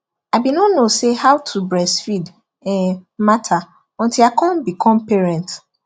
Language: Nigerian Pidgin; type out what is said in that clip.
i been no no say how to breastfeed um matter until i come become parent